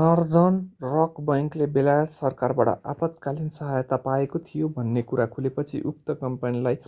Northern rock बैंकले बेलायत सरकारबाट आपतकालिन सहायता पाएको थियो भन्ने कुरा खुलेपछि उक्त कम्पनीलाई